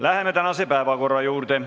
Läheme tänase päevakorra juurde.